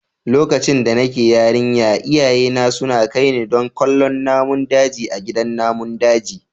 Lokacin da nake yarinya iyayena suna kai ni don kallon namun daji a gidan namun daji.